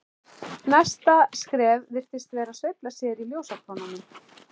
Næsta skref virtist vera að sveifla sér í ljósakrónunum.